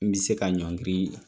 N bɛ se ka ɲɔngiri